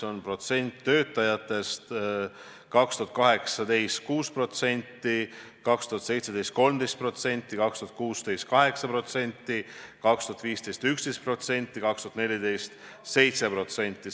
Neid töötajaid oli 2018. aastal 6%, 2017. aastal 13%, 2016. aastal 8%, 2015. aastal 11%, 2014. aastal 7%.